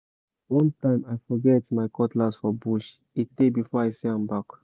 one time i forget my cutlass for bush e tey before i see am back